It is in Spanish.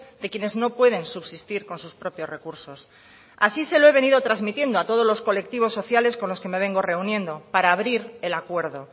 de quienes no pueden subsistir con sus propios recursos así se lo he venido transmitiendo a todos los colectivos sociales con los que me vengo reuniendo para abrir el acuerdo